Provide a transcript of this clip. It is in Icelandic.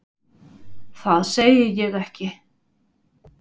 Það segi ég ekki.